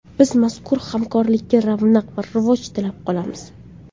Biz mazkur hamkorlikka ravnaq va rivoj tilab qolamiz!